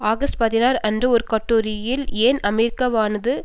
August பதினாறு அன்று ஒரு கட்டுரையில் ஏன் அமெரிக்காவானது